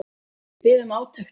Við biðum átekta.